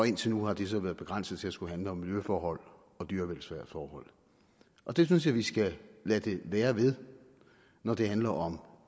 indtil nu har det så være begrænset til at skulle handle om miljøforhold og dyrevelfærdsforhold og det synes jeg vi skal lade det være ved når det handler om